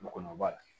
Mɔgɔ b'a la